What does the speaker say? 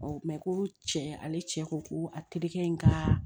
ko cɛ ale cɛ ko ko a terikɛ in ka